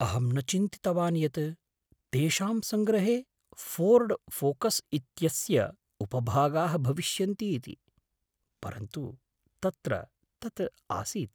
अहं न चिन्तितवान् यत् तेषां सङ्ग्रहे फोर्ड फोकस् इत्यस्य उपभागाः भविष्यन्ति इति, परन्तु तत्र तत् आसीत्।